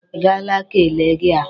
Ị gaala ka e le gị ahụ?